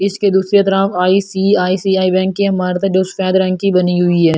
इसके दूसरी तरफ बैंक की इमारत है जो सफेद रंग की बनी हुई है ।